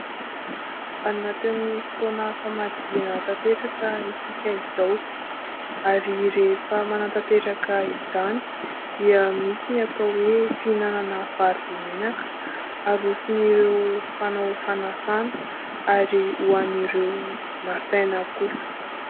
Anatin'ny fotoana famadihana tanteraka isika izao. Ary rehefa manatanteraka izany dia misy ny atao hoe fihinanana vary be menaka, aroson' ireo mpanao fanasana ary ho an'ireo nasaina kosa.